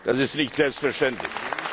Das ist nicht selbstverständlich.